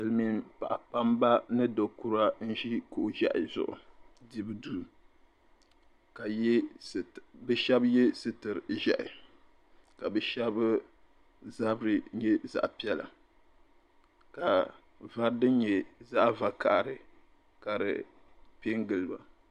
Silimiin paɣa kpamba ni do'kura n-ʒi kuɣ'ʒehi zuɣu dibu duu be ye sitir'ʒehi ka be shɛba zabiri nyɛ zaɣ'piɛla ka vari din nyɛ zaɣ'vakahili ka di pen gili ba.